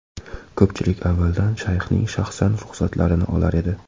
Ko‘pchilik avvaldan Shayxning shaxsan ruxsatlarini olar edi.